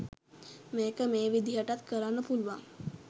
මේක මේ විදිහටත් කරන්න පුළුවන්